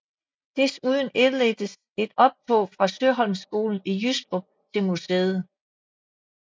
Desuden indledtes med et optog fra Søholmskolen i Jystrup til museet